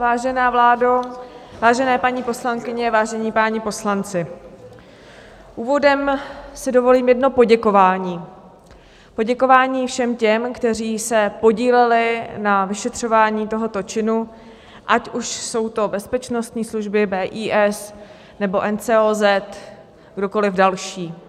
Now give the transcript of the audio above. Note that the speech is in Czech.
Vážená vládo, vážené paní poslankyně, vážení páni poslanci, úvodem si dovolím jedno poděkování, poděkování všem těm, kteří se podíleli na vyšetřování tohoto činu, ať už jsou to bezpečnostní služby, BIS nebo NCOZ, kdokoliv další.